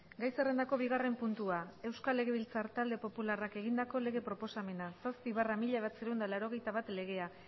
gai zerrendako bigarren puntua euskal legebiltzar talde popularrak egindako lege proposamena zazpi barra mila bederatziehun eta laurogeita bat legea